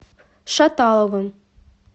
шаталовым